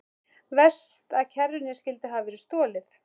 Verst að kerrunni skyldi hafa verið stolið.